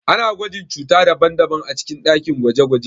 Ana gwajin cuta daban-daban a cikin dakin gwaje-gwaje.